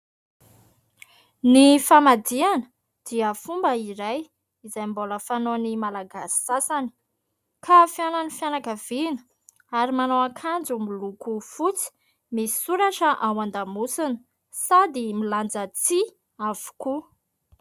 Ny famadihana dia fomba iray izay mbola fanaon'ny malagasy sasany ka fihaonan'ny fianakavina ary manao ankanjo miloko fotsy misy soratra ao an-damosina sady milanja tsihy avokoa.